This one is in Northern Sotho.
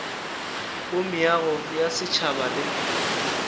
go meago ya setšhaba le